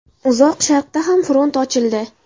Uzoq Sharqda ham front ochildi.